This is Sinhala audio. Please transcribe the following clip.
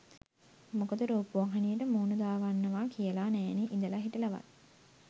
මොකද රූපවාහිනියට මූණ දාගන්නවා කියලා නෑනෙ ඉඳලා හිටලාවත්.